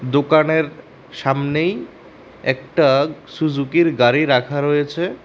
দোকানের সামনেই একটা সুজুকি এর গাড়ি রাখা রয়েছে।